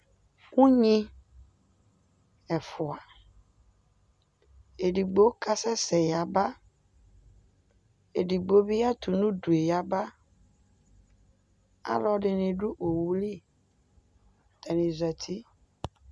Ugni ɛfua, edigbo kasɛsɛ yaba, edigbo bi atʋ n'udu yaba Alɔdini dʋ owuli, atami zati